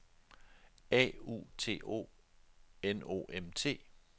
A U T O N O M T